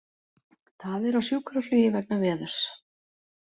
Tafir á sjúkraflugi vegna veðurs